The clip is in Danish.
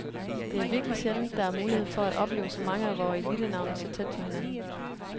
Det er virkelig sjældent, der er mulighed for at opleve så mange af vore elitenavne så tæt på hinanden.